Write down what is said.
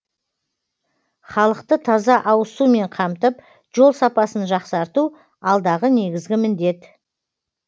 халықты таза ауызсумен қамтып жол сапасын жақсарту алдағы негізгі міндет